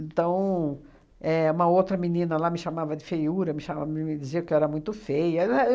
Então, éh uma outra menina lá me chamava de feiura, me cha me me dizia que eu era muito feia. É